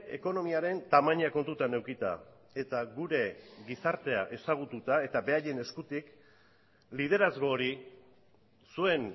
ekonomiaren tamaina kontutan edukita eta gure gizartea ezagututa eta beraien eskutik liderazgo hori zuen